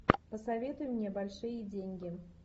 посоветуй мне большие деньги